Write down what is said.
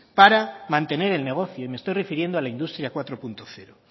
para mantener el negocio y me estoy refiriendo a la industria cuatro punto cero